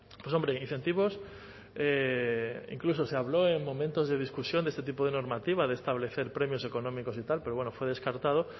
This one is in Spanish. pues hombre incentivos incluso se habló en momentos de discusión de este tipo de normativa de establecer premios económicos y tal pero bueno fue descartado